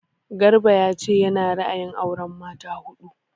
Garba ya ce ya na ra'ayin auren mata huɗu